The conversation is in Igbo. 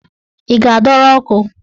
Ị ga-adọrọ ọkụ?